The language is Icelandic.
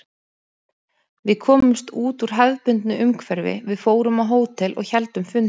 Við komumst út úr hefðbundnu umhverfi, við fórum á hótel og héldum fundi.